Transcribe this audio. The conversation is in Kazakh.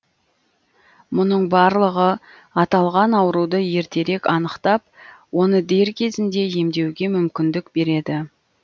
мұның барлығы аталған ауруды ертерек анықтап оны дер кезінде емдеуге мүмкіндік береді